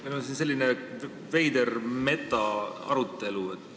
Meil on siin selline veider metaarutelu.